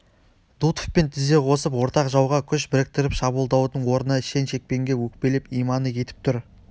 дутовпен тізе қосып ортақ жауға күш біріктіріп шабуылдаудың орнына шен-шекпенге өкпелеп иманы кетіп тұр